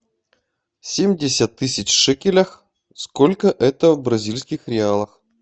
семьдесят тысяч шекелей сколько это в бразильских реалах